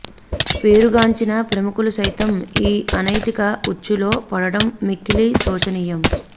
పేరుగాంచిన ప్రముఖులు సైతం ఈ అనైతిక ఉచ్చులో పడడం మిక్కిలి శోచనీయం